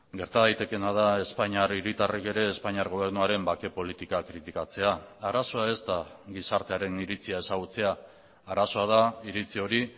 gerta daitekeena da espainiar hiritarrek ere espainiar gobernuaren bake politikak kritikatzea arazoa ez da gizartearen iritzia ezagutzea arazoa da iritzi hori